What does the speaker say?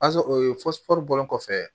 bɔlen kɔfɛ